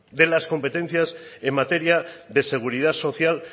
de las competencias en materia de seguridad social